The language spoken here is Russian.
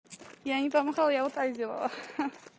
я не помахала я вот так делала ха-ха